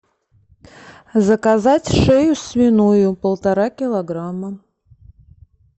заказать шею свиную полтора килограмма